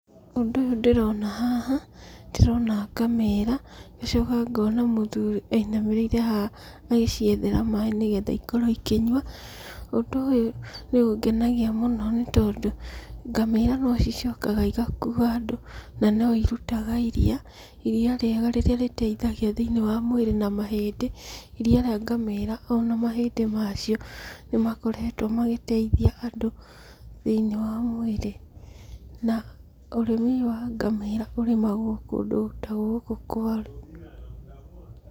Ũndũ ũyũ ndĩrona haha, ndĩrona ngamĩra, ngacoka ngona mũthuri ainamĩrĩire haha, agĩciethera maĩ nĩgetha ikorwo ikĩnyua. Ũndũ ũyũ nĩ ũngenagia mũno nĩ tondũ, ngamĩra no cicokaga igakuua andũ na no irutaga iriia, iriia rĩega rĩrĩa rĩteithagia thĩiniĩ wa mwĩrĩ na mahĩndĩ. Iriia rĩa ngamĩra ona mahĩndĩ macio, nĩ makoretwo magĩteithia andũ thĩiniĩ wa mwĩrĩ. Na ũrĩmi ũyũ wa ngamĩra ũrĩmagwo kũndũ ta gũkũ kwaru .